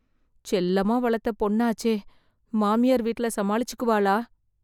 செல்லமா வளர்த்த பொண்ணாச்சே... மாமியார் வீட்ல சமாளிச்சுக்குவாளா...